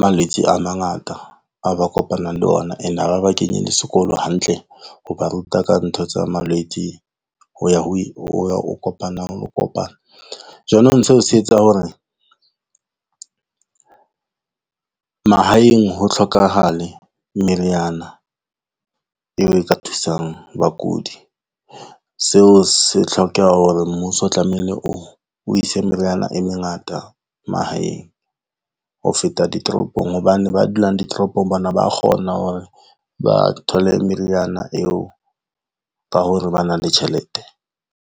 malwetse a mangata, a ba kopanang le ona, ene ha ba ba kenye le sekolo hantle ho ba ruta ka ntho tsa malwetse ho ya ho kopanang, ho kopana. Jwanong seo se etsa hore mahaeng ho tlhokahale, meriana eo e ka thusang bakudi. Seo se tlhokeha hore mmuso o tlamehile o ise meriana e mengata mahaeng ho feta ditoropong. Hobane ba dulang ditoropong bona ba kgona hore ba thole meriana eo ka ho re ba na le tjhelete.